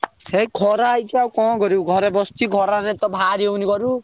ଏଇ ଖରା ହେଇଛି ଆଉ କଣ କରିବୁ ଘରେ ବସଚି ଖରାରେ ତ ବାହାରି ହଉନି ଘରୁ।